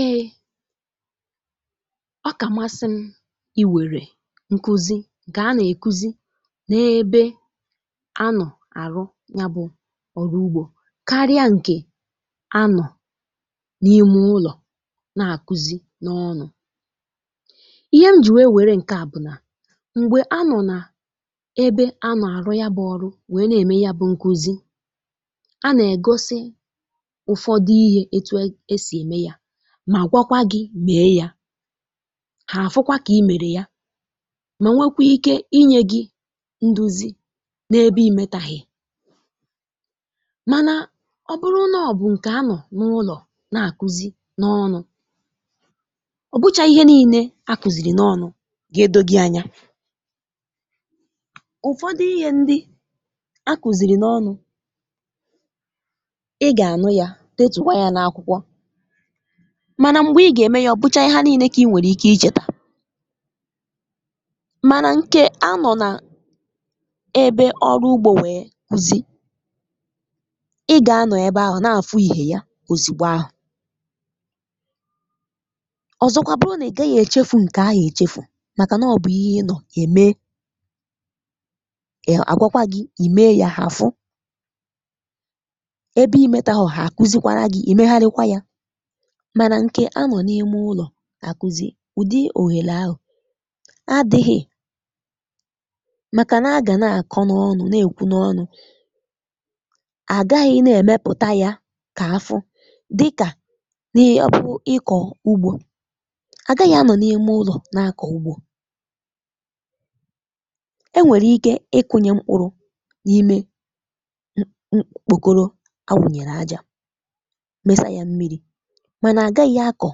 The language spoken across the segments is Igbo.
Ee, ọkà masị m ị wèrè nkuzi nke a nà-èkuzi n’ebe anọ àrụ yabụ ọrụ ugbọ karịa ǹkè anọ n’ime ụlọ na-àkuzi n’ọnụ. Ihe m ji wee wèrè ǹkè à bụ nà m̀gbè anọ nà-ebe anọ àrụ yabụ ọrụ wee nà-ème yabụ nkuzi, a nà-ègosi ụfọdụ ihe etu esi eme ya mà gwakwa gị mee ya, hà àfụkwa kà imèrè ya mà nwekwe ike inye gị nduzi n’ebe imètàghị mànà ọ bụrụ nà ọ bụ ǹkè anọ n’ụlọ na-àkuzi n’ọnụ, ọ bụchaghị ihe niile à kụzìrì n’ọnụ ga-edọgị anya. Ụfọdụ ihe ndị à kụzìrì n’ọnụ, ị gà-ànụ ya, detụkwa ya na akwụkwọ mànà m̀gbè ị gà-ème ya, ọ bụchaghị ha niile kà ị nwèrè ike ichètà mànà ǹkè a nọ na-ebe ọrụ ugbọ nwèe kuzi, Ị gà-anọ ebe ahụ na-àfụ ihe ya ozìgbo ahụ; ọzọkwa bụrụ nà ị gaghị èchefu ǹkè ahụ èchefu màkà nà ọ bụ ihe ị nọ ème, um àgwakwa gị, ìme ya, ha àfụ, ebe imètàhọ ha àkuzikwara gị, ìme harikwa ya. Mànà nke a nọ n’ime ụlọ à kụzi, ụdị òghèlè ahụ adịghị màkà nà agà na-àkọ n’ọnụ, nà-èkwu n’ọnụ, à gaghị nà-èmepùta ya kà afụ dịkà n’ọbụ ịkọ ugbọ. Àgaghị anọ n’ime ụlọ na-àkọ ugbọ; enwèrè ike ịkụnye mkpụrụ n’ime m mkpùkoro a wùnyèrè ajà, mesà ya mmiri mànà àgaghị akọ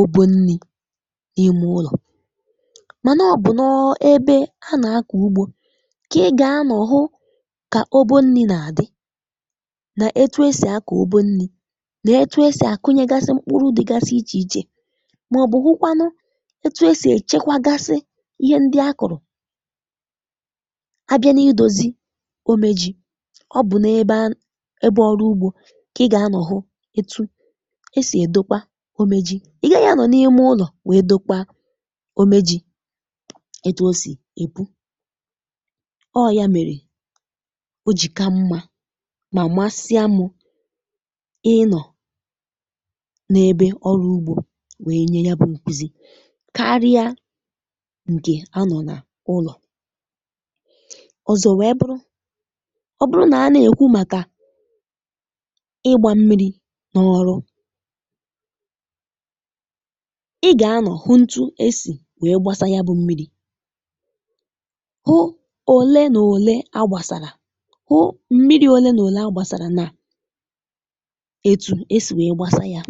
obo nni n’ime ụlọ. Mànà ọ bụ nọọ ebe à na-akụ ugbọ kà ị gà-anọ hụ kà obo nni na-adị nà-etu e sì akọ obu nni nà etu e sì àkụnyègasị mkpụrụ dịgasị iche iche màọbụ hụ kwanụ etu e sì èchekwagasị ihe ndị a kụrụ. Abịa n’idozi ome jì, ọ bụ n’ebe ebe ọrụ ugbọ kà ị gà-anọ hụ etu e sì dokpa ome jì, ị gaghị anọ n’ime ụlọ wee dokpa ome jì, etu o sì epu, ọ ya mèrè ojìka mma mà masịamụ ịnọ n’ebe ọrụ ugbọ wee nye yabụ nkuzi karịa ǹkè a nọ nà ụlọ. Ọzọ wee bụrụ, ọ bụrụ nà a na-èkwu màkà ịgbà mmiri n'ọrụ, ị ga-anọ hụ ntụ esi wee gbasaa yabụ mmiri, hụ ole na ole a gbasara, hụ mmiri ole na ole a gbasara na-etu esi wee gbasaa ya.